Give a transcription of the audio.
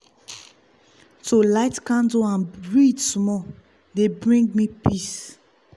to light candle and read small dey bring me peace.